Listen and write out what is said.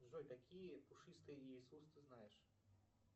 джой какие пушистые иисус ты знаешь